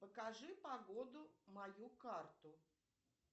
покажи погоду мою карту